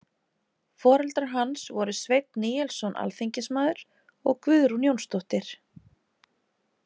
Foreldrar hans voru Sveinn Níelsson alþingismaður og Guðrún Jónsdóttir.